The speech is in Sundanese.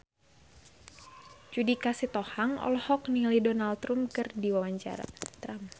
Judika Sitohang olohok ningali Donald Trump keur diwawancara